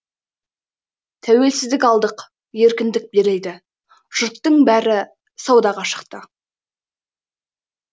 тәуелсіздік алдық еркіндік берілді жұрттың бәрі саудаға шықты